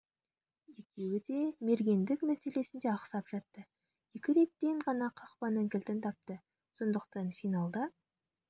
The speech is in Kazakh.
екеуі де мергендік мәселесінде ақсап жатты екі реттен ғана қарсы қақпаның кілтін тапты сондықтан финалда